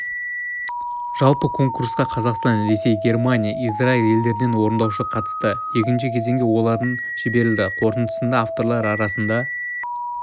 жалпы конкурсқа қазақстан ресей германия израиль елдерінен орындаушы қатысты екінші кезеңге олардың жіберілді қорытындысында авторлар арасында